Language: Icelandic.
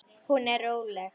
Hún er róleg.